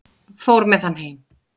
Fór með hann heim.